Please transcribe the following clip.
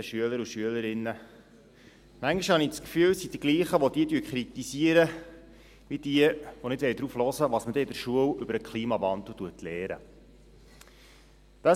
Manchmal habe ich das Gefühl, es seien die Gleichen, die sie kritisieren, die nicht darauf hören wollen, was man in der Schule über den Klimawandel lernt.